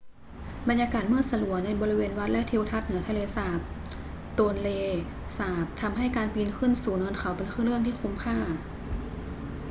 บรรยากาศมืดสลัวในบริเวณวัดและทิวทัศน์เหนือทะเลสาบโตนเลสาบทำให้การปีนขึ้นสู่เนินเขาเป็นเรื่องที่คุ้มค่า